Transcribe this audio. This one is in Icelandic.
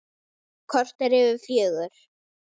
Korter yfir fjögur.